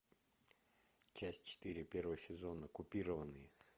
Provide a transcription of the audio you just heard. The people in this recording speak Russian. часть четыре первого сезона купированные